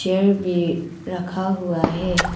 Chair भी रखा हुआ है।